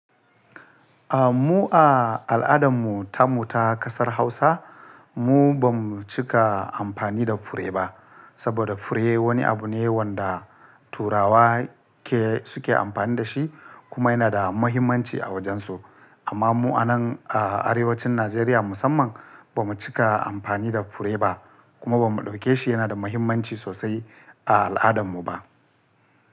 Ah, mu a al'adan mu, tamo ta ƙasar Hausa, mu ba mu cika amfani da fure ba. Saboda fure wani abu ne wanda Turawa ke suke amfani da shi kuma yana da muhimmanci a wajen su. Amma mu a nan a arewacin Najeriya musamman ba mu cika amfani da fure ba kuma ba mu ɗauke shi yana da muhimmanci sosai a al'adan mu ba.